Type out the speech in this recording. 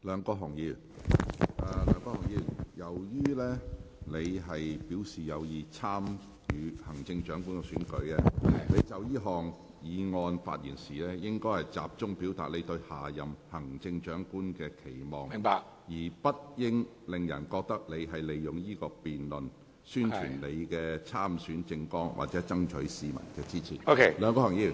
梁國雄議員，由於你已表示有意參與行政長官選舉，你就這項議案發言時，應集中表達你對下任行政長官的期望，而不應令人覺得你利用這項辯論宣傳你的參選政綱，或爭取市民的支持。